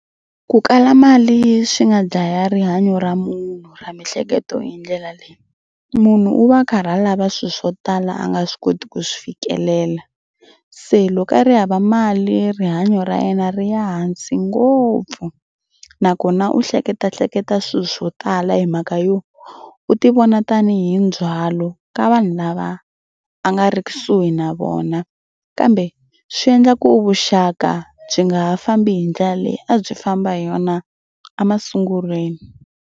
Ku kala mali swi nga dlaya rihanyo ra munhu ra miehleketo hi ndlela leyi. Munhu u va karhi a lava swilo swo tala a nga swi koti ku swi fikelela. Se loko a ri hava mali rihanyo ra yena ri ya hansi ngopfu nakona u hleketahleketa swilo swo tala hi mhaka yo u tivona tanihi ndzhwalo ka vanhu lava a nga ri kusuhi na vona kambe swi endla ku vuxaka byi nga ha fambi hi ndlela leyi a byi famba hi yona a masungulweni.